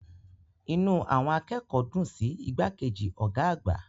Inú àwọn akẹ́kọ̀ọ́ dùn sí igbákejì ọ̀gá àgbà.